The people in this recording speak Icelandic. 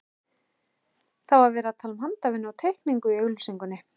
Það var talað um handavinnu og teikningu í auglýsingunni.